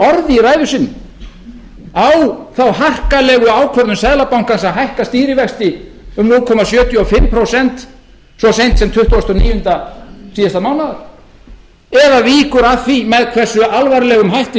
orði í ræðu sinni á þá harkalegu ákvörðun seðlabankans að hækka stýrivexti um núll komma sjötíu og fimm prósent svo seint sem tuttugasta og níunda síðasta mánaðar eða víkur þar að því með hversu alvarlegum hætti